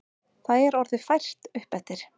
Það er orðið fært uppeftir.